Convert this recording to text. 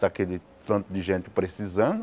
Está aquele tanto de gente precisando.